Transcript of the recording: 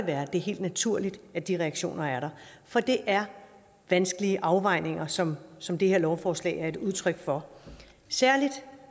er helt naturligt at de reaktioner er der for det er vanskelige afvejninger som som det her lovforslag er et udtryk for særlig